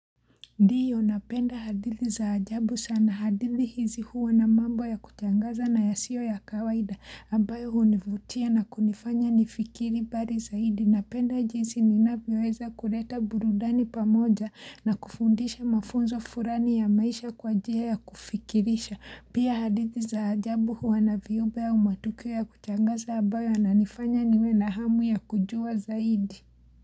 Ndio napenda hadithi za ajabu sana. Hadithi hizi huwa na mambo ya kushangaza na yasiyo ya kawaida ambayo hunivutia na kunifanya nifikiri mbali zaidi. Napenda jinsi ninavyoweza kuleta burudani pamoja na kufundisha mafunzo fulani ya maisha kwa njia ya kufikirisha pia hadithi za ajabu huwa na viumbe au matukio ya kushangaza ambayo yananifanya niwe na hamu ya kujua zaidi.